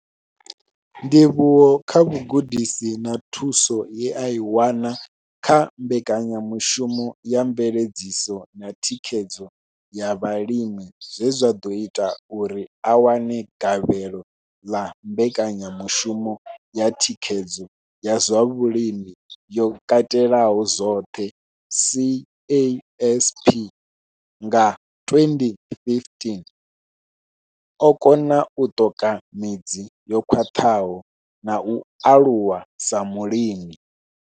Ndivhuwo kha vhugudisi na thuso ye a i wana kha Mbekanyamushumo ya Mveledziso na Thikhedzo ya Vhalimi zwe zwa ḓo ita uri a wane gavhelo ḽa Mbekanyamushumo ya Thikhedzo ya zwa Vhulimi yo Katelaho zwoṱhe, CASP nga 2015, o kona u ṱoka midzi yo khwaṱhaho na u aluwa sa mulimi.